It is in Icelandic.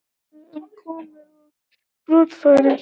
Upplýsingar um komur og brottfarir